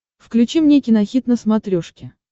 включи мне кинохит на смотрешке